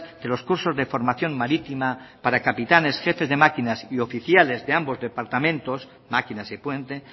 de los cursos de formación marítima para capitanes jefes de máquinas y oficiales de ambos departamentos maquinas y puente